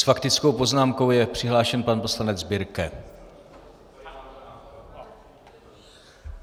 S faktickou poznámkou je přihlášen pan poslanec Birke.